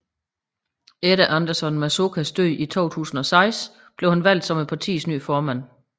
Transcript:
Efter Anderson Mazokas død i 2006 blev han valgt som partiets nye formand